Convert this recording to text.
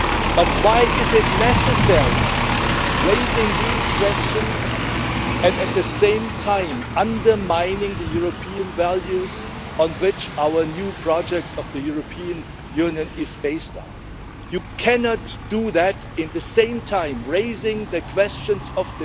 But why is it necessary to raise these questions and at the same time undermine the European values on which our new project of the European Union is based? You cannot do that at the same time as raising questions on the future and appealing to the unity of the West, which is a values based unity, and at the same time hope that we can collaborate in the best interests of our citizens.